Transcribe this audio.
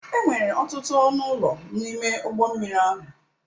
Enwere ọtụtụ ọnụ ụlọ n'ime ụgbọ mmiri ahụ.